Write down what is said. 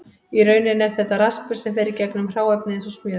Í rauninni er þetta raspur sem fer í gegnum hráefnið eins og smjör.